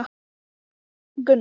Síðan sneri hann sér að kúnnunum.